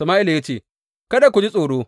Sama’ila ya ce, Kada ku ji tsoro.